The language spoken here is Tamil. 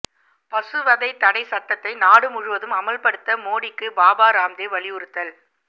பசுவதை தடைச் சட்டத்தை நாடு முழுவதும் அமல்படுத்த மோடிக்கு பாபா ராம்தேவ் வலியுறுத்தல்